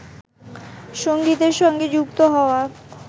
সঙ্গীতের সঙ্গে যুক্ত হওয়া